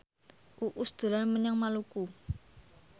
Uus dolan menyang Maluku